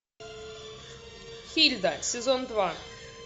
хильда сезон два